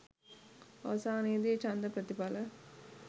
අවසානයේ දී ඡන්ද ප්‍රතිඵල